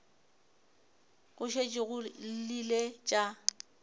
go šetše go llile tša